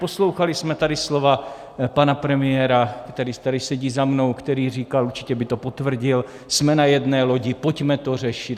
Poslouchali jsme tady slova pana premiéra, který tady sedí za mnou, který říkal - určitě by to potvrdil: Jsme na jedné lodi, pojďme to řešit...